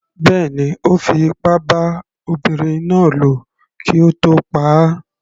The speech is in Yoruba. Bẹ́ẹ̀ni, Ó fi ipá bá ọmọbinrin náà lò kí ó tó pa á.